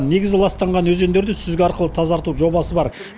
негізі ластанған өзендерді сүзгі арқылы тазарту жобасы бар